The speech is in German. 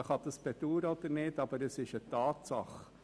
Dies kann man bedauern oder nicht, aber es ist eine Tatsache.